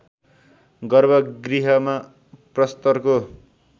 गर्भ गृहमा प्रस्तरको